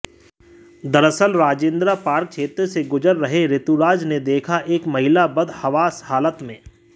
दरअसल राजेंद्रा पार्क क्षेत्र से गुजर रहे ऋतुराज ने देखा एक महिला बदहवास हालत में